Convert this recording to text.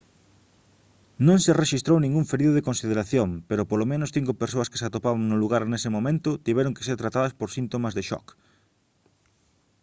non se rexistrou ningún ferido de consideración pero polo menos cinco persoas que se atopaban no lugar nese momento tiveron que ser tratadas por síntomas de shock